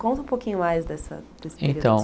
Conta um pouquinho mais dessa dessa experiência Então